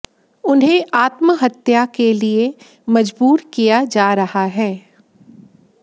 उन्हें आत्महत्या के लिए मजबूर किया जा रहा है